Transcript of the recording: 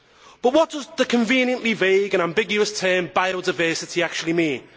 But what does the conveniently vague and ambiguous term biodiversity' actually mean?